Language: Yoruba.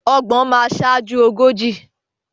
Ọgbọ̀n máa sáájú ogójì.